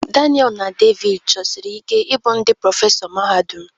Daniel na David chọsiri ike ịbụ ndị prọfesọ mahadum.